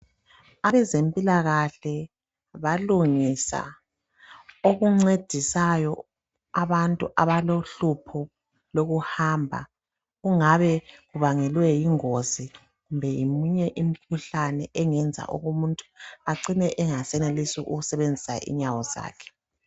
Abezempilakahle balungisa okuncedisayo abantu abalohlupho lokuhamba, kungabe kubangelwe yingozi kumbe ngeminye imikhuhlane engenza umuntu acine engasenelisi ukusebenzisa inyawo zakhe.